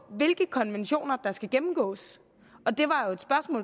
hvilke konventioner der skal gennemgås